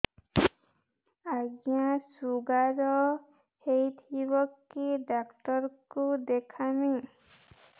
ଆଜ୍ଞା ଶୁଗାର ହେଇଥିବ କେ ଡାକ୍ତର କୁ ଦେଖାମି